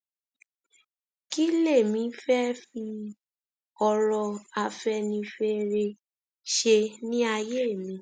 kí lèmi fẹẹ fi ọrọ afẹnifẹre ṣe ní àyè mi